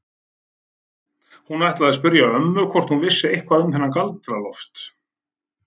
Hún ætlaði að spyrja ömmu hvort hún vissi eitthvað um þennan Galdra-Loft.